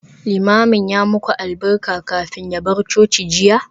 Limamin ya yi muku albarka kafin ya bar coci jiya?